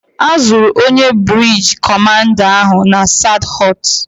A zụrụ onye brigeed kọmanda ahụ na Sadhọọst.